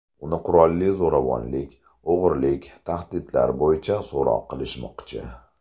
Uni qurolli zo‘ravonlik, o‘g‘rilik, tahdidlar bo‘yicha so‘roq qilishmoqchi.